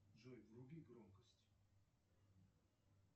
джой вруби громкость